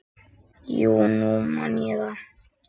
Já, nú man ég það.